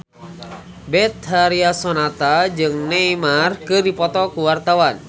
Betharia Sonata jeung Neymar keur dipoto ku wartawan